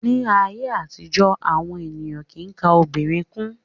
Ní ayé àtijó, àwọn ènìyàn kìí ka ọmọ obìnrin kún.